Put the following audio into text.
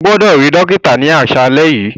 O gbọdọ ri dokita ni aṣalẹ yi.